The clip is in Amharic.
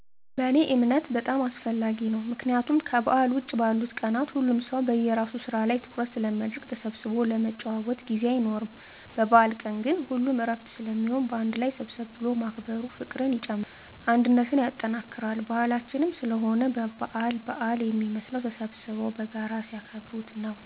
በእኔ እምነት በጣም አስፈላጊ ነው። ምክንያቱም ከበዓል ውጭ ባሉት ቀናት ሁሉም ሰው በየራሱ ስራ ላይ ትኩረት ስለሚያደረግ ተሰብስቦ ለመጨዋወት ጊዜ አይኖርም። በበአል ቀን ግን ሁሉም እረፍት ስለሚሆን አንድ ላይ ሰብሰብ ብሎ ማክበሩ ፍቅርን ይጨምራል አንድነትን ያጠናክራል። ባህላችንም ስለሆነ በአል በአል የሚመስለው ተሰብስበው በጋራ ሲያከብሩት ነው።